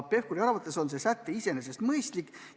Pevkuri arvates on see säte iseenesest mõistlik.